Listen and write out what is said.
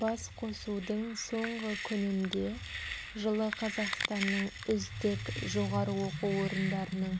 басқосудың соңғы күнінде жылы қазақстанның үздік жоғары оқу орындарының